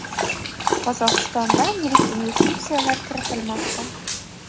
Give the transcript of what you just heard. Qozog‘istondan yirik investitsiyalar kiritilmoqda.